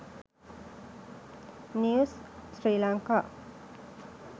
news sri lanka